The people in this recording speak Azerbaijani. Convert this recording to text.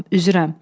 üzürəm.